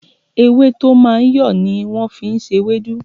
Ewé tó máa ń yọ̀ ni wọ́n fi ń ṣe ewédú